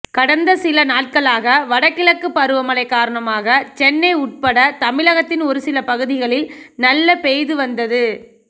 கடந்த சில நாட்களாக வடகிழக்கு பருவமழை காரணமாக சென்னை உட்பட தமிழகத்தின் ஒரு சில பகுதிகளில் நல்ல பெய்து வந்தது